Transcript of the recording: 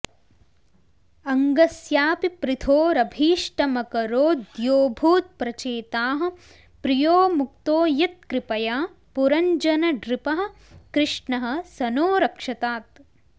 अङ्गस्यापि पृथोरभीष्टमकरोद्योऽभूत्प्रचेताः प्रियो मुक्तो यत्कृपया पुरञ्जननृपः कृष्णः स नो रक्षतात्